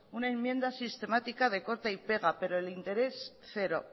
una enmienda sistemática de corta y pega pero el interés cero